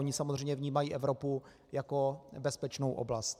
Oni samozřejmě vnímají Evropu jako bezpečnou oblast.